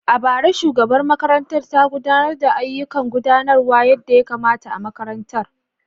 A bara, shugabar makarantar ta gudanar da ayyukan gudanarwa yadda ya kamata a makarantar.